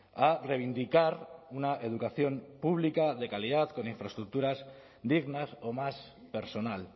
a reivindicar una educación pública de calidad con infraestructuras dignas o más personal